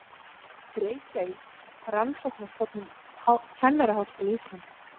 Reykjavík: Rannsóknarstofnun Kennaraháskóla Íslands.